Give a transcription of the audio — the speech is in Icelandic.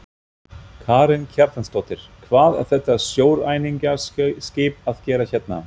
Karen Kjartansdóttir: Hvað er þetta sjóræningjaskip að gera hérna?